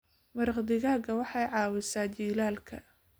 Maraq digaaga waxay caawisaa jiilaalka.